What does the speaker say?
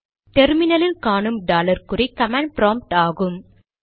terminal இல் காணும் dollar குறி கமாண்ட் ப்ராம்ப்ட் ஆகும்